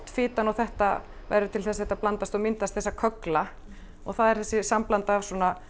fitan og þetta verður til þess að þetta blandast og myndar köggla og það er þetta sambland af